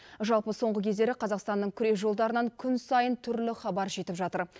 жалпы соңғы кездері қазақстанның күрежолдарынан күн сайын түрлі хабар жетіп жатыр